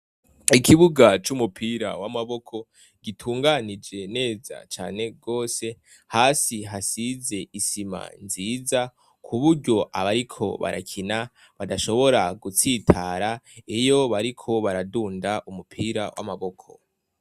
Ikibuga c'umupira w'amaboko gitunganije neza rwose hasi hasize isima nziza ku buryo abariko barakina badashobora gutsitara iyo bariko baradunda umupira n'amaboko.